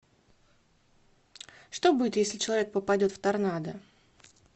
что будет если человек попадет в торнадо